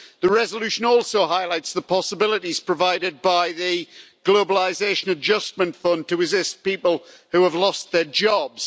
The resolution also highlights the possibilities provided by the Globalisation Adjustment Fund to assist people who have lost their jobs.